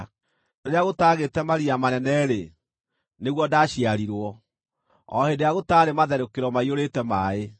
Rĩrĩa gũtaagĩte maria manene-rĩ, nĩguo ndaciarirwo, o hĩndĩ ĩrĩa gũtaarĩ matherũkĩro maiyũrĩte maaĩ;